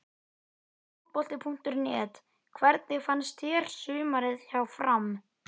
Fótbolti.net: Hvernig fannst þér sumarið hjá FRAM?